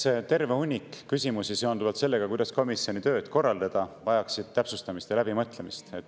Eks terve hunnik küsimusi seonduvalt sellega, kuidas komisjoni tööd korraldada, vajaks täpsustamist ja läbimõtlemist.